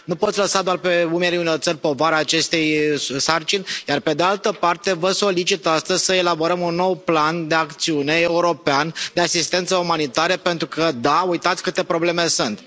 Nu poți lăsa doar pe umerii unor țări povara acestei sarcini iar pe de altă parte vă solicit astăzi să elaborăm un nou plan de acțiune european de asistență umanitară pentru că da, uitați câte probleme sunt.